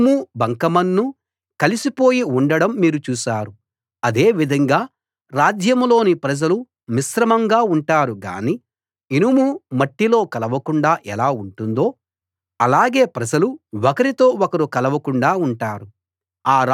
ఇనుము బంకమన్ను కలిసిపోయి ఉండడం మీరు చూశారు అదే విధంగా రాజ్యంలోని ప్రజలు మిశ్రమంగా ఉంటారు గానీ ఇనుము మట్టిలో కలవకుండా ఎలా ఉంటుందో అలాగే ప్రజలు ఒకరితో ఒకరు కలవకుండా ఉంటారు